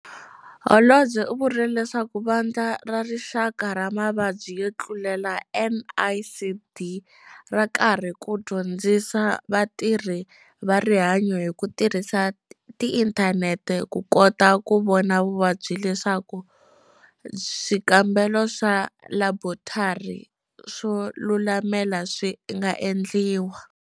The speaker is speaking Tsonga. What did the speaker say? Holobye u vurile leswaku Vandla ra Rixaka ra Mavabyi yo Tlulela, NICD, ra karhi ku dyondzisa vatirhi va rihanyo hi ku tirhisa inthanete ku kota ku vona vuvabyi leswaku swikambelo swa laborotari swo lulamela swi nga endliwa.